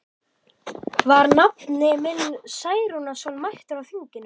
Var nafni minn Særúnarson mættur á þinginu?